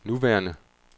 nuværende